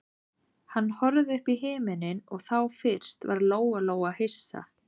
Hann horfði upp í himininn og þá fyrst varð Lóa-Lóa hissa.